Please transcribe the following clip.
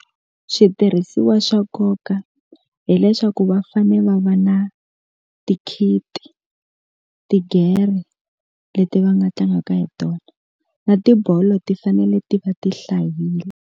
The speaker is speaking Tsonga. Switirhisiwa swa nkoka hileswaku va fane va va na ti-kit, tigere leti va nga tlangaka hi tona na tibolo ti fanele ti va ti hlayile.